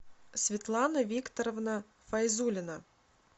светлана викторовна файзулина